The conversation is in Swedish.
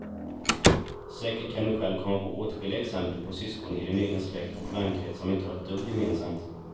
Säkert kan du själv komma på åtskilliga exempel på syskon i din egen släkt och vänkrets som inte har ett dugg gemensamt.